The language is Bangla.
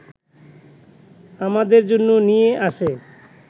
আমাদের জন্য নিয়ে আসে